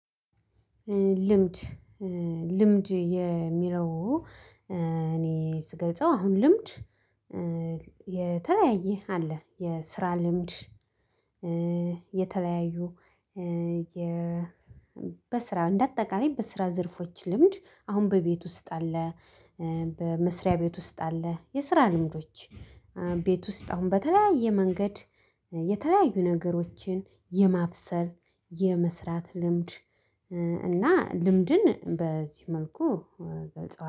ልምድ ልምድ የሚለው እኔ ስገልጸው አሁን ልምድ የተለያየ አለ የስራ ልምድ የተለያዩ በስራ እንደ አጠቃላይ በስራ ዘርፎች ልምድ አሁን በቤት ውስጥ አለ። በመስሪያ ቤት ውስጥ አለ የስራ ልምዶች። ቤት ውስጥ አሁን በተለያየ መንገድ የተለያዩ ነገሮችን የማብሰል የመስራት ልምድ። እና ልምድን በዚህ መልኩ